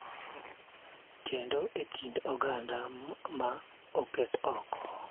Kendo e kind oganda ma oket oko.